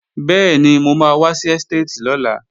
Bẹ́ẹ̀ni, mo máa wá sí ẹ́stéètì lọ́la